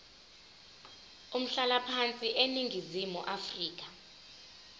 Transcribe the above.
umhlalaphansi eningizimu afrika